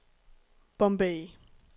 Bombay